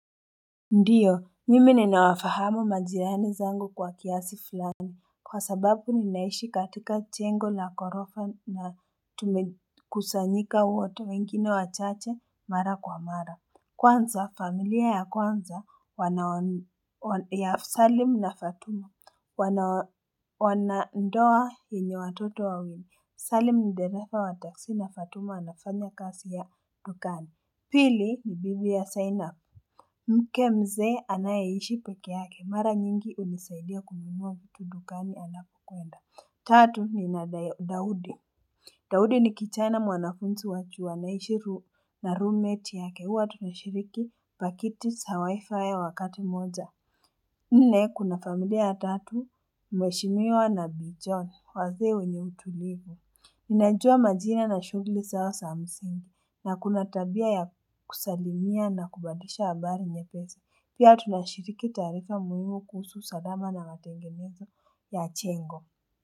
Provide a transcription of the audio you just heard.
Ndiyo mimi ninawafahamu majirani zangu kwa kiasi fulani kwa sababu ninaishi katika jengo na horofa na kusanyika wote wengine wachache mara kwa mara kwanza familia ya kwanza wanao ni ya salim na fatuma wana ndoa yenye watoto wawili salim dereva wa taksi na fatuma anafanya kazi ya dukani pili ni bibi ya saina mke mzee anayeishi peke yake mara nyingi hunisaidia kununua vitu dukani anapokuenda. Tatu ni na Daudi. Daudi ni kichaina mwanafunzi wa chuo anaishi na roommate yake huwa tunashiriki pakiti za WIFI ya wakati moja. Nne kuna familia YA tatu, mheshimiwa na bii John, wazee wenye utulivu. Ninajua majina na shugli zao za msingi na kuna tabia ya kusalimia na kubadisha habari nyepesi pia tunashiriki taarifa muhimu kuhusu usalama na matengenezo ya jengo.